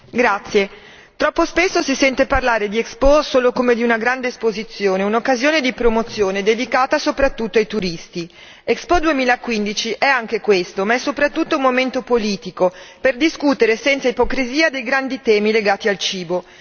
Signora Presidente, onorevoli colleghi, troppo spesso si sente parlare di Expo solo come di una grande esposizione, un'occasione di promozione dedicata soprattutto ai turisti. Expo 2015 è anche questo ma è soprattutto un momento politico per discutere senza ipocrisia dei grandi temi legati al cibo.